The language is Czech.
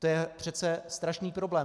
To je přece strašný problém.